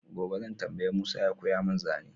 gobe zan tambayi Musa ya koya mun zane